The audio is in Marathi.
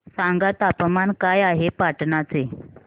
सांगा तापमान काय आहे पाटणा चे